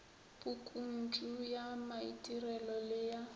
pukuntšu ya maitirelo le ya